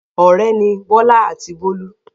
Ọ̀rẹ́ ni Bọ́lá àti Bólú.